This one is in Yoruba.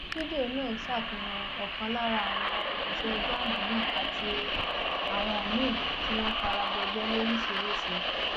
fídíò náà ṣàfihàn ọkan lára àwọn òṣìṣẹ jamb náà àti àwọn míín tí wọn fara gbọgbẹ lóríṣìíríṣìí